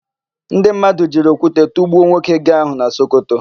Ndị mmadụ jiri okwute tụgbuo nwoke gee áhụ̀ na Sokoto.